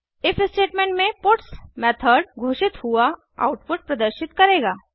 if statement में puts method घोषित हुआ आउटपुट प्रदर्शित करेगा